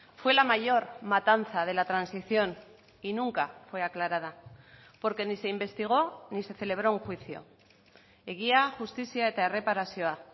fue la mayor matanza de la transición y nunca fue aclarada porque ni se investigó ni se celebró un juicio egia justizia eta erreparazioa